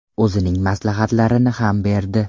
O‘zining maslahatlarini ham berdi.